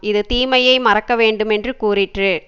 இது தீமையை மறக்க வேண்டுமென்று கூறிற்று